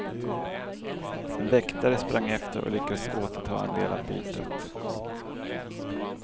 En väktare sprang efter och lyckades återta en del av bytet.